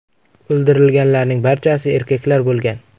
O‘ldirilganlarning barchasi erkaklar bo‘lgan.